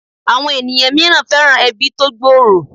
Àwọn èèyàn mìíràn fẹ́ràn ẹbí tó gbòòrò